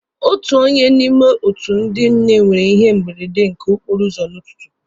Otu onye n'ime otu ndị nne nwere ihe mberede nke okporo ụzọ n'ụtụtụ.